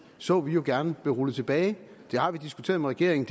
så vi gerne blive rullet tilbage det har vi diskuteret med regeringen